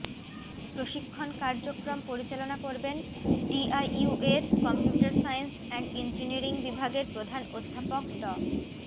প্রশিক্ষন কার্যক্রম পরিচালনা করবেন ডিআইইউ এর কম্পিউটার সাইন্স অ্যান্ড ইঞ্জিনিয়ারিং বিভাগের প্রধান অধ্যাপক ড